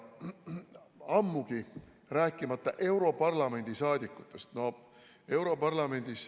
Ammugi, kui rääkida europarlamendi saadikutest.